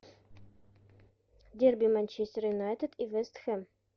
дерби манчестер юнайтед и вест хэм